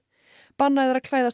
bannað er að klæðast